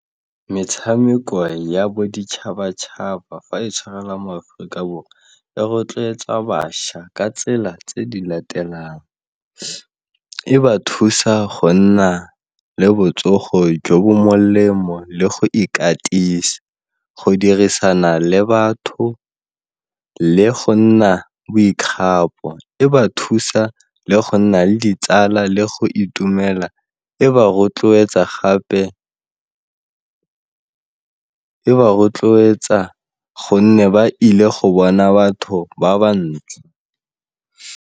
Metshameko ya boditšhabatšhaba fa e tshwarela mo Aforika Borwa e rotloetsa bašwa ka tsela tse di latelang, e ba thusa go nna le botsogo jo bo molemo le go ikatisa, go dirisana le batho le go nna boikgapo, e ba thusa le go nna le ditsala le go itumela e ba rotloetsa gonne ba ile go bona batho ba ba ntsi.